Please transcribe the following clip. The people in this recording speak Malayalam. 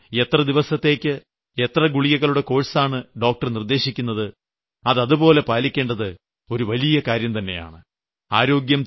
അതുകൊണ്ട് എത്രദിവസത്തേക്ക് എത്ര ഗുളികകളുടെ കോഴ്സാണോ ഡോക്ടർ നിർദ്ദേശിക്കുന്നത് അത് അതേപടി പാലിക്കേണ്ടത് ഒരു വലിയ കാര്യംതന്നെയാണ്